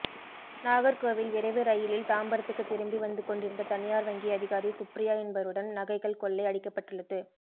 நாகர்கோவில் விரைவு ரயிலில் தாம்பரத்துக்கு திரும்பி வந்துகொண்டிருந்த தனியார் வங்கி அதிகாரி சுப்ரியா என்பவரிடம் நகைகள் கொள்ளை அடிக்கப்பட்டுள்ளது